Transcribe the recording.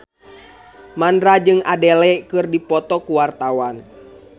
Mandra jeung Adele keur dipoto ku wartawan